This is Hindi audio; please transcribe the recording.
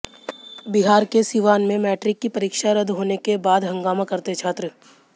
बिहार के सीवान में मैट्रिक की परीक्षा रद्द होने के बाद हंगामा करते छात्र